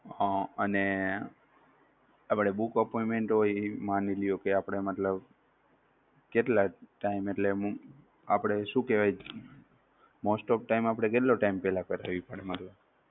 અમ અને આપણે book appointment હોય એ માનીલ્યો કે મતલબ આપણે મતલબ કેટલા time એટલે આપણે શું કહેવાય most of time આપણે કેટલા time પહેલા કરાવી પડે?